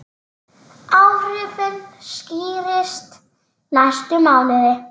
Áhrifin skýrist næstu mánuði.